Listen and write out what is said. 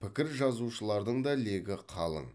пікір жазушылардың да легі қалың